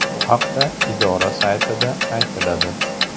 Bu haqda idora saytida aytiladi .